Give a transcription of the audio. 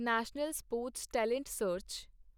national sports talent search scheme